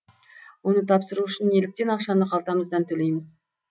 оны тапсыру үшін неліктен ақшаны қалтамыздан төлейміз